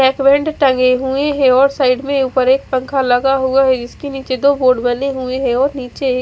हेकवेंद टंगे हुए है और साइड में उपर एक पंखा लगा हुआ है इसके निचे दो बोर्ड बने हुए है और निचे एक--